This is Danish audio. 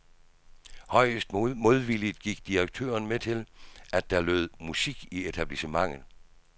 Højst modvilligt gik direktøren med til, at der lød musik i etablissementet.